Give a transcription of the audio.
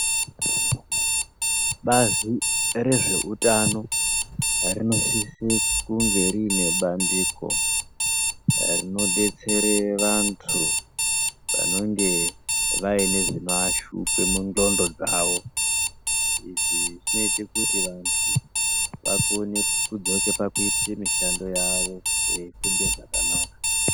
Bazi rezveutano rinosisa kunge rine bandiko rinobetsere vantu vanonge vane zvinoashupa mundxondo dzawo izvi zvinoita kuti vantu vakone kudzoka pakuite mishando yavo veifunga zvakanaka.